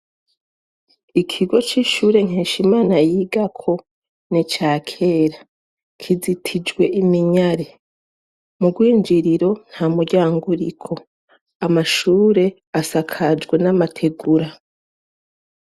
Ikigo cishure nkeshimana yigako nica kera kizitijwe iminyari mu gwinjiriro ntamuryango uriko amashure asakajwe namategura